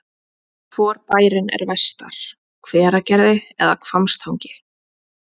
Hvor bærinn er vestar, Hveragerði eða Hvammstangi?